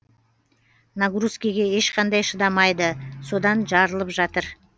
нагрузкеге ешқандай шыдамайды содан жарылып жатыр